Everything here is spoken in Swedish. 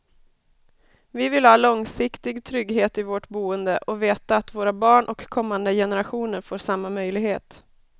Vi vill ha långsiktig trygghet i vårt boende och veta att våra barn och kommande generationer får samma möjlighet.